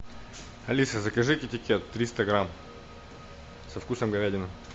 алиса закажи китекет триста грамм со вкусом говядины